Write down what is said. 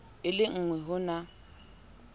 e le engwe ho na